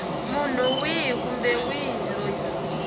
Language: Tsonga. munhu wihi kumbe wihi loyi